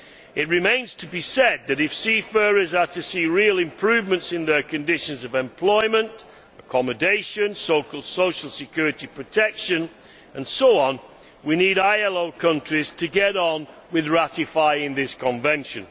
It must be said that, if seafarers are to see real improvements in their conditions of employment, accommodation, social security protection and so on, we need ILO countries to get on with ratifying this convention.